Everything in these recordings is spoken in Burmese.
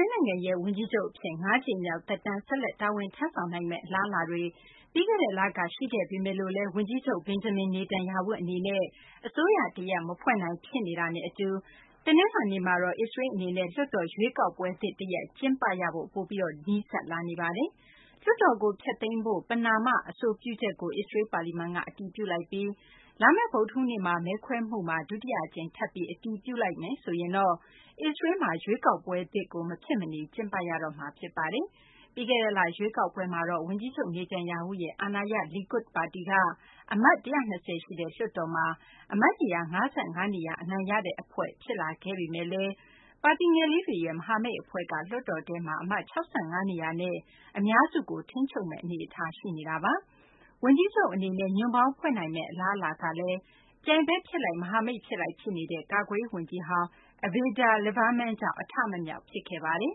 ေးလ် နိုင်ငံရဲ့ ဝန်ကြီးချုပ် အဖြစ် ၅ ကြိမ်မြောက် သက်တမ်း ဆက်လက် တာဝန်ထမ်းဆောင်နိုင်မယ့် အလားအလာတွေ ပြီးခဲ့တဲ့ လက ရှိခဲ့ပေမယ့်လည်း ဝန်ကြီးချုပ် Benjamin Netanyahu အနေနဲ့ အစိုးရတရပ် မဖွဲ့နိုင် ဖြစ်နေတာနဲ့ အတူ တနလာၤနေ့မှာတော့ အစ္စရေးလ် အနေနဲ့ လွှတ်တော် ရွေးကောက်ပွဲသစ် တရပ် ကျင်းပရဖို့ ပိုပြီး နီးစပ်လာနေပါတယ်။ လွှတ်တော်ကို ဖျက်သိမ်းဖို့ ပဏာမ အဆိုပြုချုပ်ကို အစ္စရေးလ် ပါလီမန်က အတည်ပြုလိုက်ပြီး လာမယ့် ဗုဒ္ဓဟူးနေ့ မဲခွဲမှုမှာ ဒုတိယ အကြိမ် ထပ်ပြီး အတည်ပြုလိုက်မယ်ဆိုရင်တော့ အစ္စရေးလ်မှာ ရွေးကောက်ပွဲသစ်ကို မဖြစ်မနေ ကျင်းပရတော့မှာ ဖြစ်ပါတယ်။ ပြီးခဲ့တဲ့လ ရွေးကောက်ပွဲမှာတော့ ဝန်ကြီးချုပ် Netanyahu ရဲ့ အာဏာရ Likud ပါတီက အမတ် ၁၂၀ ရှိတဲ့ လွှတ်တော်မှာ အမတ်နေရာ ၅၅ နေရာ အနိုင်ရတဲ့ အဖွဲ့ဖြစ်လာခဲ့ ဒါပေမယ့်လည်း ပါတီငယ်လေးတွေရဲ့ မဟာမိတ်အဖွဲ့က လွှတ်တော်ထဲက အမတ် ၆၅ နေရာနဲ့ အများစုကို ထိန်းချုပ်မယ့် အနေအထား ရှိနေတာပါ။ ဝန်ကြီးချုပ် Netanyahu အနေနဲ့ ညွန့်ပေါင်းဖွဲ့နိုင်မယ့် အလားအလာကလည်း ပြိုင်ဘက်ဖြစ်လိုက် မဟာမိတ် ဖြစ်လိုက် ဖြစ်နေတဲ့ ကာကွယ်ရေး ဝန်ကြီးဟောင်း Avigdor Lieberman ကြောင့် အထမမြောက် ဖြစ်ခဲ့ပါတယ်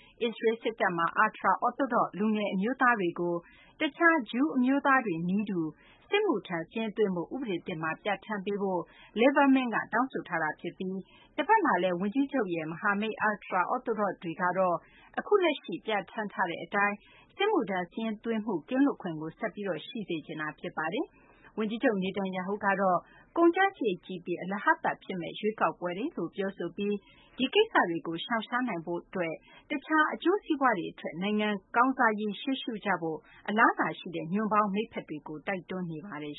။ အစ္စရေးလ် စစ်တပ်မှာ ultra- Orthodox လူငယ် အမျိုးသားတွေကို တခြား ဂျူးအမျိုးသားတွေနည်းတူ စစ်မှုထမ်းစာရင်းသွင်းဖို့ ဥပဒေသစ်မှာ ပြဌာန်းဖို့ Liberman က တောင်းဆိုထားတာ ဖြစ်ပြီး တဖက်မှာလည်း ဝန်ကြီးချုပ် Netanyahu ရဲ့ မဟာမိတ် ultra-Orthodox တွေကတော့ အခုလက်ရှိ ပြဌာန်းထားတဲ့ အတိုင်း စစ်မှုထမ်းစာရင်းသွင်းမှု ကင်းလွတ်ခွင့်ကို ဆက်ပြီး ထားရှိစေချင်နေတာဖြစ်ပါတယ်။ ဝန်ကြီးချုပ် Netanyahu ကတော့ ကုန်ကျစာရိတ်ကြီးပြီး အလဟဿဖြစ်စေမယ့် ရွေးကောက်ပွဲတွေလို့ ပြောဆိုပြီး ဒီကိစ္စတွေကို ရှောင်ရှားနိုင်ဖို့ အတွက် တခြား အကျိုးစီးပွားတွေထက် နိုင်ငံကောင်းစားရေး ရှေ့ရှုကြဖို့ အလာအလာရှိတဲ့ ညွန့်ပေါင်း မိတ်ဖက်တွေကို တိုက်တွန်းထားပါတယ်